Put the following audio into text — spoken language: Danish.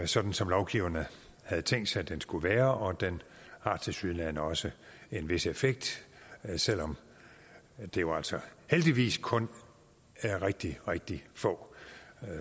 sådan som lovgiverne havde tænkt sig den skulle være og den har tilsyneladende også en vis effekt selv om det jo altså heldigvis kun er rigtig rigtig få